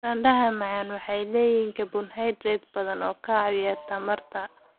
Baradhada macaan waxay leeyihiin carbohydrates badan oo ka caawiya tamarta.